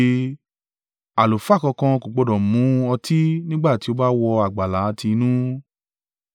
Àlùfáà kankan kò gbọdọ̀ mu ọtí nígbà tí ó bá wọ àgbàlá tí inú.